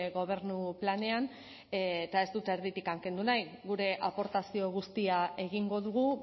gobernu planean eta ez dut erditik kendu nahi gure aportazio guztia egingo dugu